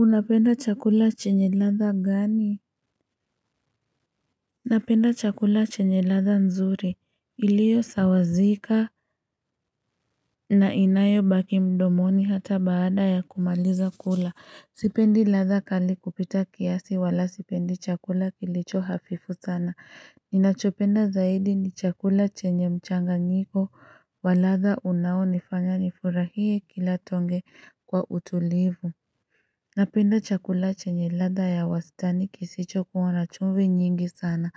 Unapenda chakula chenye ladha gani? Unapenda chakula chenye ladha nzuri iliyo sawazika na inayo baki mdomoni hata baada ya kumaliza kula. Sipendi ladha kali kupita kiasi wala sipendi chakula kilicho hafifu sana. Ninachopenda zaidi ni chakula chenye mchanganyiko waladha unao nifanya nifurahie kila tonge kwa utulivu. Napenda chakula chenye ladha ya wasitani kisicho kuwa na chumvi nyingi sana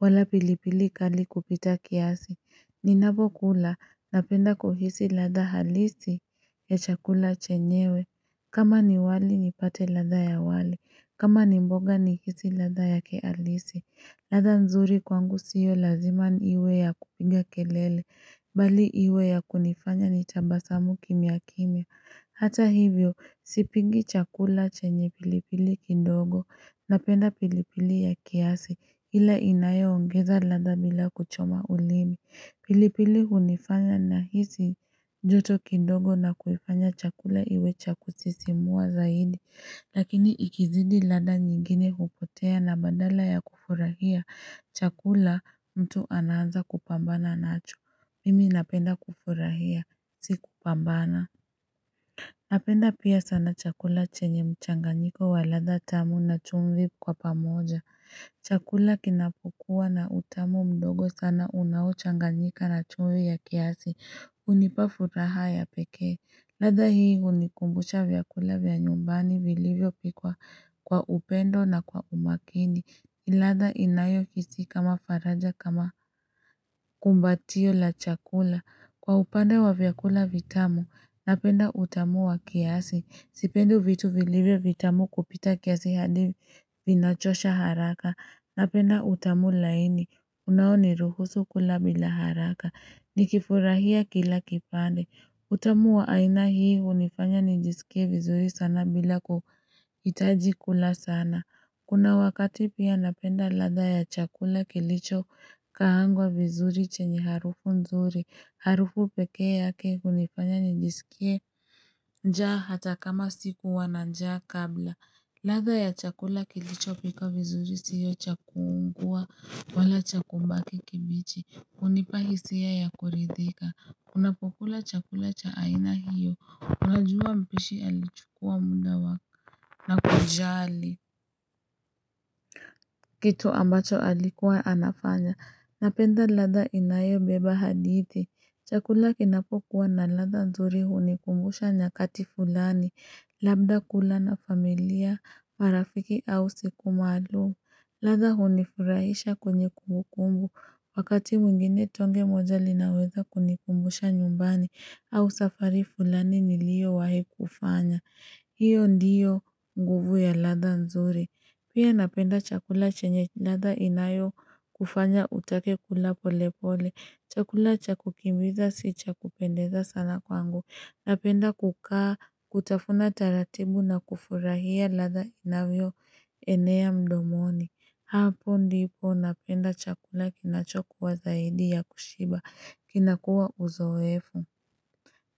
wala pilipili kali kupita kiasi. Ninapo kula napenda kuhisi ladha halisi ya chakula chenyewe. Kama ni wali nipate ladha ya wali. Kama ni mboga nihisi ladha yake halisi. Ladha nzuri kwangu sio lazima niwe ya kupinga kelele. Bali iwe ya kunifanya nitabasamu kimya kimya. Hata hivyo, sipingi chakula chenye pilipili kindogo, napenda pilipili ya kiasi, ila inaye ongeza ladha bila kuchoma ulimi. Pilipili hunifanya nahisi joto kindogo na kuifanya chakula iwe cha kusisimua zaidi. Lakini ikizidi ladha nyingine hupotea na badala ya kufurahia, chakula mtu anaanza kupambana nacho. Mimi napenda kufurahia, si kupambana. Napenda pia sana chakula chenye mchanganyiko wa ladha tamu na chumvi kwa pamoja. Chakula kinapokua na utamu mdogo sana unaochanganyika na chumvi ya kiasi. Unipa furaha ya pekee. Ladha hii unikumbusha vyakula vya nyumbani vilivyo pikwa kwa upendo na kwa umakini. Ladha inayo hisi kama faraja kama kumbatio la chakula. Kwa upande wa vyakula vitamu, napenda utamu wa kiasi. Sipendi vitu vilivyo vitamu kupita kiasi hadi vinachosha haraka. Napenda utamu laini, unao niruhusu kula bila haraka. Nikifurahia kila kipande. Utamu wa aina hii unifanya nijisikie vizuri sana bila kuhitaji kula sana. Kuna wakati pia napenda ladha ya chakula kilicho kaangwa vizuri chenye harufu nzuri. Harufu pekee yake unifanya nijisikie njaa hata kama sikuwa na njaa kabla. Ladha ya chakula kilicho pikwa vizuri siyo chakuungua wala cha kubaki kibichi. Unipahisia ya kuridhika. Unapokula chakula ch aaina hiyo, unajua mpishi alichukua muda wake na kujali. Kitu ambacho alikuwa anafanya, napenda ladha inayo beba hadithi. Chakula kinapokuwa na ladha nzuri hunikumbusha nyakati fulani, labda kula na familia, marafiki au siku maalumu. Ladha hunifurahisha kwenye kumbukumbu, wakati mwingine tonge moja linaweza kunikumbusha nyumbani au safari fulani niliowahi kufanya. Hiyo ndiyo nguvu ya ladha nzuri. Pia napenda chakula chenye ladha inayokufanya utake kula pole pole. Chakula cha kukimbiza si cha kupendeza sana kwangu. Napenda kukaa kutafuna taratibu na kufurahia ladha inavyo enea mdomoni. Hapo ndipo napenda chakula kinachokuwa zaidi ya kushiba kinakua uzoefu.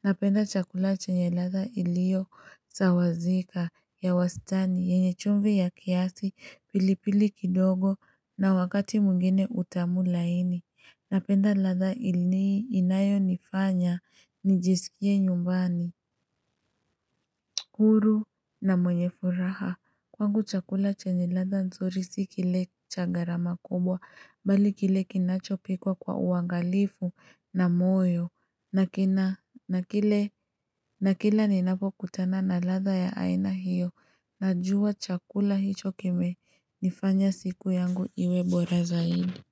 Napenda chakula chenye ladha ilio sawazika ya wastani yenye chumvi ya kiasi pilipili kidogo na wakati mwingine utamu laini. Napenda ladha ilini inayo nifanya, nijisikie nyumbani. Huru na mwenye furaha, kwangu chakula chenye ladha ndzuri sikile cha garama kubwa, bali kile kinachopikwa kwa uangalifu na moyo. Na kina, nakile, nakila ninapo kutana na ladha ya aina hiyo, najua chakula hicho kime nifanya siku yangu iwe bora zaidi.